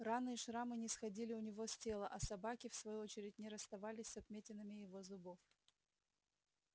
раны и шрамы не сходили у него с тела а собаки в свою очередь не расставались с отметинами его зубов